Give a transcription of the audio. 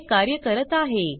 हे कार्य करत आहे